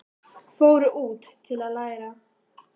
Fóru út til að læra